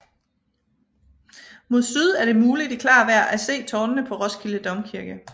Mod syd er det muligt i klart vejr at se tårnene på Roskilde Domkirke